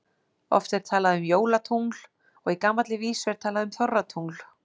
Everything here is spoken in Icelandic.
Oft er talað um jólatungl og í gamalli vísu er talað um þorratungl.